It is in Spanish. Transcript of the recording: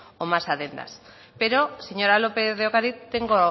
o más adendas pero señora lópez de ocariz tengo